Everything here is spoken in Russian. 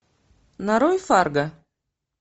нарой фарго